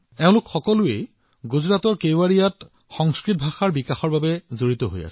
তেওঁলোক সকলোৱে গুজৰাটৰ কেৱাড়িয়াত সংস্কৃত ভাষাৰ মান বৃদ্ধিৰ বাবে একেলগে কাম কৰি আছে